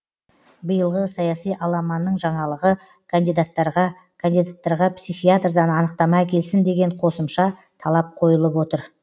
биылғы саяси аламанның жаңалығы кандидаттарға кандидаттарға психиатрдан анықтама әкелсін деген қосымша талап қойылып отыр